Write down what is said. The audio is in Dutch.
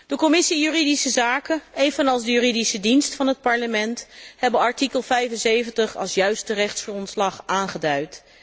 De Commissie juridische zaken, evenals de Juridische Dienst van het Parlement, hebben artikel 75 als juiste rechtsgrondslag aangeduid.